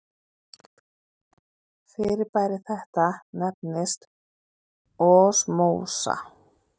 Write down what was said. Fyrirbæri þetta nefnist osmósa.